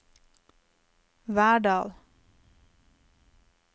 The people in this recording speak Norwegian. Verdal